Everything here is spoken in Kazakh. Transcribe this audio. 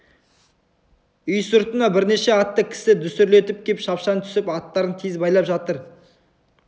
үй сыртына бірнеше атты кісі дүсірлетіп кеп шапшаң түсіп аттарын тез байлап жатыр